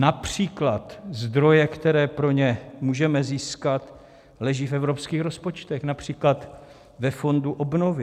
Například zdroje, které pro ně můžeme získat, leží v evropských rozpočtech, například ve Fondu obnovy.